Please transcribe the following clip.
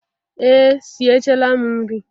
Ee sie chaala m nri.